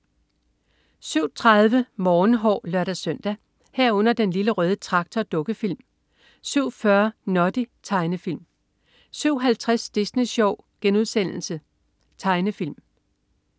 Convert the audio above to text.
07.30 Morgenhår (lør-søn) 07.30 Den Lille Røde Traktor. Dukkefilm 07.40 Noddy. Tegnefilm 07.50 Disney Sjov.* Tegnefilm *